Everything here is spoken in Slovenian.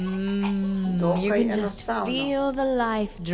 Dokaj enostavno.